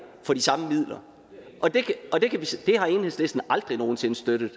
for de samme midler det har enhedslisten aldrig nogen sinde støttet